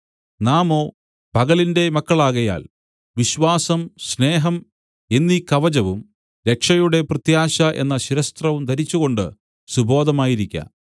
നാമോ പകലിന്റെ മക്കളാകയാൽ വിശ്വാസം സ്നേഹം എന്നീ കവചവും രക്ഷയുടെ പ്രത്യാശ എന്ന ശിരസ്ത്രവും ധരിച്ചുകൊണ്ടു സുബോധമായിരിക്ക